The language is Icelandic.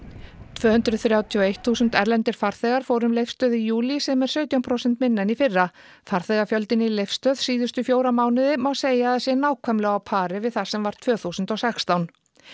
tvö hundruð þrjátíu og eitt þúsund erlendir farþegar fóru um Leifsstöð í júlí sem er sautján prósent minna en í fyrra farþegafjöldinn í Leifsstöð síðustu fjóra mánuði má segja að sé nákvæmlega á pari við sem var tvö þúsund og sextán